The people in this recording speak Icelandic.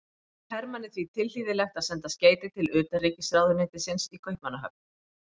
Þótti Hermanni því tilhlýðilegt að senda skeyti til utanríkisráðuneytisins í Kaupmannahöfn.